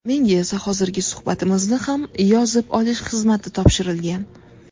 Menga esa hozirgi suhbatimizni ham yozib olish xizmati topshirilgan.